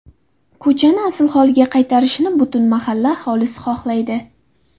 Ko‘chani asl holiga qaytarilishini butun mahalla aholisi xohlaydi.